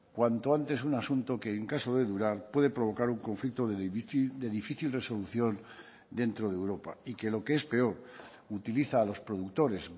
cuanto antes un asunto que en caso de durar puede provocar un conflicto de difícil resolución dentro de europa y que lo que es peor utiliza a los productores